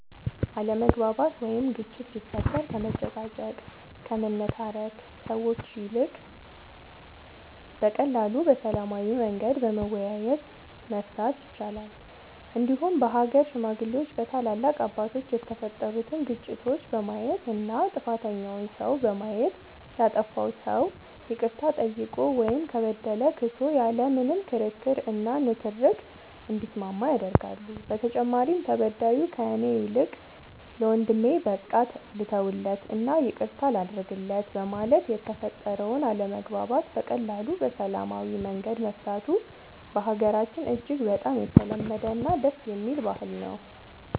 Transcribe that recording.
አለመግባባት ወይም ግጭት ሲፈጠር ከመጨቃጨቅ ከመነታረክ ሰዎች ይልቅ በቀላሉ በሰላማዊ መንገድ በመወያየት መፍታት ይቻላል እንዲሁም በሀገር ሽማግሌዎች በታላላቅ አባቶች የተፈጠሩትን ግጭቶች በማየት እና ጥፋተኛውን ሰው በማየት ያጠፋው ሰው ይቅርታ ጠይቆ ወይም ከበደለ ክሶ ያለ ምንም ክርክር እና ንትርክ እንዲስማማ ያደርጋሉ በተጨማሪም ተበዳዩ ከእኔ ይልቅ ለወንድሜ በቃ ልተውለት እና ይቅርታ ላድርግለት በማለት የተፈጠረውን አለመግባባት በቀላሉ በሰላማዊ መንገድ መፍታቱ በሀገራችን እጅግ በጣም የተለመደ እና ደስ የሚል ባህል ነው።